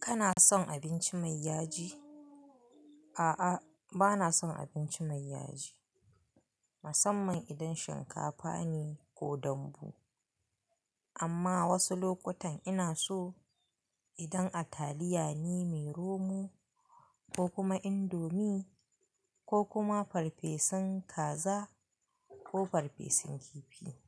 Kana son abinci mai yaji? A'a, bana son abinci mai yaji. Musamman idan shinkafa ne ko dambu. Amma wasu lokutan ina so, idan a taliya ne mai romo, ko kuma indomie, ko kuma farfesun kaza ko farfesun kifi.